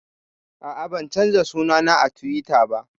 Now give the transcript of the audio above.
A'a, ban canza suna na a Tiwita ba